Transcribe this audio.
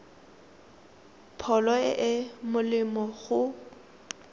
pholo e e molemo go